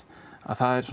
það er